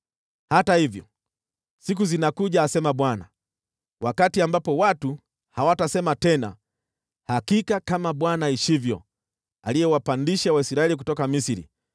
“Hata hivyo, siku zinakuja,” asema Bwana , “wakati ambapo watu hawatasema tena, ‘Hakika kama Bwana aishivyo, aliyewapandisha Waisraeli kutoka Misri,’